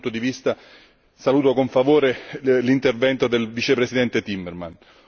Da questo punto di vista saluto con favore l'intervento del vicepresidente Timmermans.